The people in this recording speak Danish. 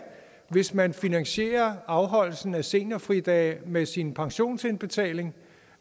hvis man finansierer afholdelsen af seniorfridage med sin pensionsindbetaling